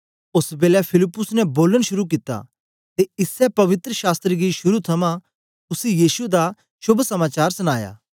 ओस बेलै फिलिप्पुस ने बोलन शुरू कित्ता ते इसै पवित्र शास्त्र गी शुरू थमां उसी यीशु दा शोभ समाचार सनाया